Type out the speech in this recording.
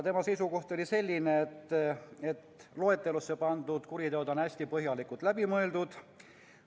Tema seisukoht oli, et loetelusse pandud kuriteod on hästi põhjalikult läbi mõeldud.